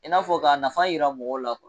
I n'a fɔ ka nafa yira mɔgɔw la